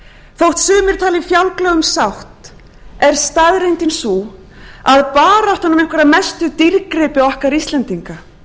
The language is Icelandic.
þótt sumir tali fjálglega um sátt er staðreyndin sú að baráttan um einhverja mestu dýrgripi okkar íslendinga